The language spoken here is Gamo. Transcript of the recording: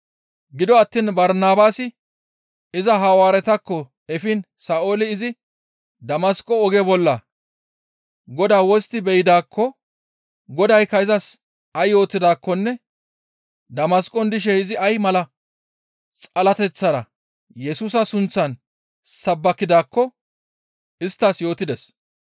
Gido attiin Barnabaasi iza Hawaaretakko efiin Sa7ooli izi Damasqo oge bolla Godaa wostti be7idaakko, Godaykka izas ay yootidaakkonne Damasqon dishe izi ay mala xalateththara Yesusa sunththan sabbakidaakko isttas yootides.